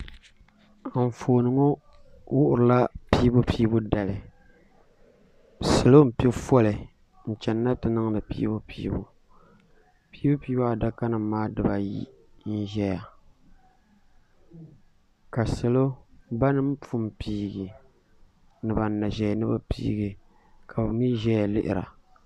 Anfooni ŋɔ wuhiri la piibupiibu dali salo mpɛ foli n chɛni ni na ti niŋdi piibupiibu piibupiibu adaka nima maa diba ayi n zaya ka salo bini pun piigi ni bini na zɛya ni bi piigi ka bi mi zɛya lihiri a.